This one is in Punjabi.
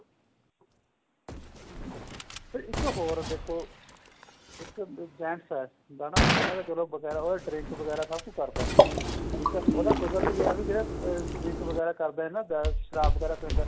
ਠੀਕ ਏ ਪਰ ਇੱਕ ਹੋਰ ਦੇਖੋ ਇੱਕ gents ਏ ਹਨਾ ਉਹਨੇ ਚਲੋਂ ਵਗੈਰਾ drink ਵਗੈਰਾ ਸਭ ਕੁੱਝ ਕਰਦਾ ਏ ਠੀਕ ਏ ਉਹ ਤਾਂ ਕੁਦਰਤੀ ਏ ਜਿਹੜਾ drink ਵਗੈਰਾ ਕਰਦਾ ਏ ਸ਼ਰਾਬ ਵਗੈਰਾ ਪਿੰਦਾ